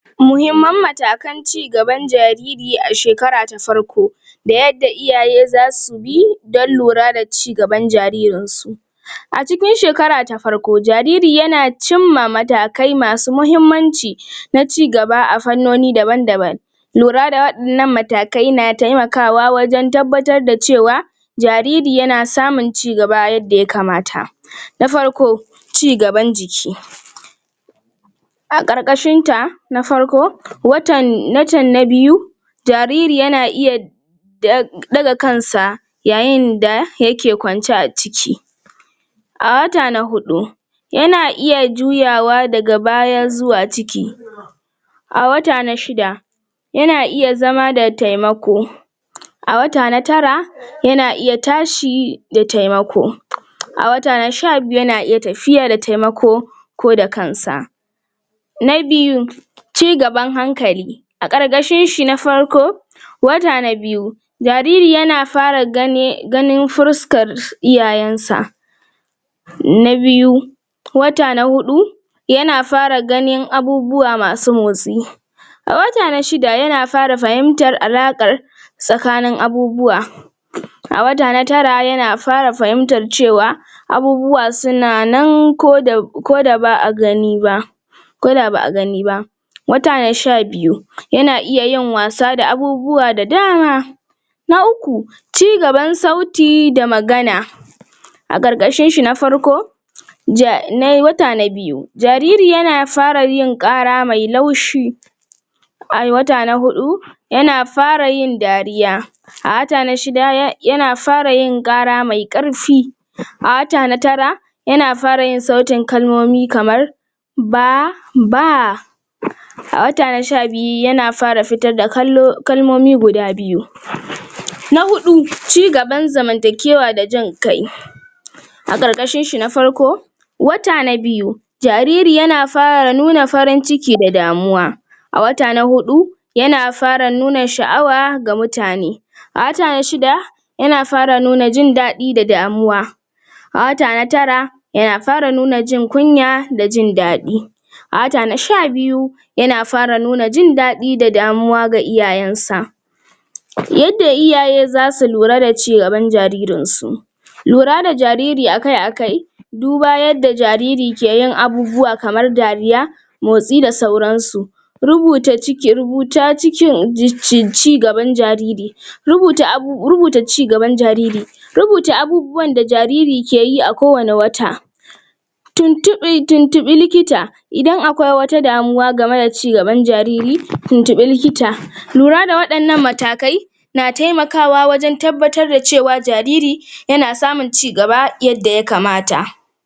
Muhimman matakan cigaban jariri a shekara ta farko da yadda iyaye zasu bi donn lura da cigaban jaririnsu a cikin shekara ta farko jariri yana cimma matakai masu mahimmanci na cigaba a fannoni daban-daban lura da waɗannan matakai na taimakawa wajen tabbatar da cewa jariri na samun cigaba yadda ya kamata na farko cigaban jiki a ƙarƙashin ta na farko watan na biyu jariri yana iya ɗaga kansa yayin da yake kwance a ciki a wata na huɗu yana iya juyawa daga baya zuwa ciki a wata na shida yana iya zama da taimako a wata na tara yana iya tashi da taimako a wata na sha biyu yana iya tafiya da taimako ko da kansa na biyu cigaban hankali a ƙarƙashin shi na farko wata na biyu jariri yana fara ganin fuskar iyayensa na biyu wata na huɗu yana fara ganin abubuwa masu motsi a wata na shida yana fara fahimtar alaƙan tsakanin abubuwa a wata na tara yana fara fahiimtar cewa abubuwa suna nan um koda ba a gani ba ko da ba a gani ba wata na sha biyu yana iya yin wasa da abubuwa da dama na uku cigaban sauti da magana a ƙarƙashin shi na farko um wata na biyu jariri yana fara yin ƙara mai laushi a wata na huɗu yana fara yin dariya a wata na shida yana fara yin ƙara mai ƙarfi a wata na tara yana fara yin sautin kalmomi kamar ba ba a wata na sha biyu yana fara fitar da um kalmomi guda biyu cigaba zamantakewa da jin kai a ƙarƙashn shi na farko wata na biyu jariri yana fara nuna farin ciki da damuwa a wata na huɗu yana fara nuna sha'awa ga mutane a wata na shida yana fara nuna jin daɗi da damuwa a wata na tara yana fara nuna jin kunya da jin daɗi a wata na sha biyu yana fara nuna jin daɗi da damuwa ga iyayensa yadda iyaye zasu lura da cigaban jaririnsu lura da jariri a kai a kai duba yadda jariri ke yin abubuwa kamar dariya motsi da sauransu um rubuta cikiN cigaban jariri rubuta um rubuta cigaban jariri rubuta abubuwan da jariri ke yi a ko wani wata um tuntuɓi likita idan akwai wata damuwa game da cigaban jariri tuntuɓi likita lura da waɗannan matakai na taimakawa wajen tabbatar da cewa jariri yana samun cigaba yadda ya kamata.